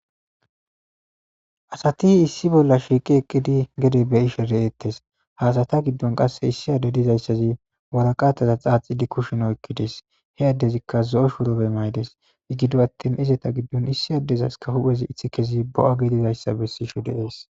Asati issi bolla shiiqi eqqidi gede be'ishe de'ettes. Ha asata giddon qasse issi adde dizayssazi waraqataza xaaxidi kushien oyiqqides. He addezikka zo'o shurabe mayides. Gido attin izeta giddon issi addezas hu'ezi iththikezi bo'a gidizayssa bessishe de'es.